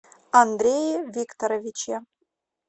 андрее викторовиче